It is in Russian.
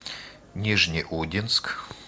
нижнеудинск